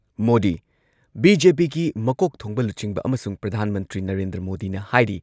ꯃꯣꯗꯤ ꯕꯤ.ꯖꯦ.ꯄꯤꯒꯤ ꯃꯀꯣꯛ ꯊꯣꯡꯕ ꯂꯨꯆꯤꯡꯕ ꯑꯃꯁꯨꯡ ꯄ꯭ꯔꯙꯥꯟ ꯃꯟꯇ꯭ꯔꯤ ꯅꯔꯦꯟꯗ꯭ꯔ ꯃꯣꯗꯤꯅ ꯍꯥꯏꯔꯤ